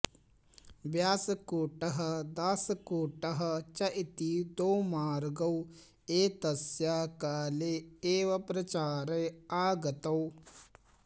व्यासकूटः दासकूटः च इति द्वौ मार्गौ एतस्य काले एव प्रचारे आगतौ